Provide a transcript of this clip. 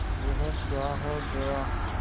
यह क्या है जया